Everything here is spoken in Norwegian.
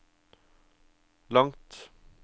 langt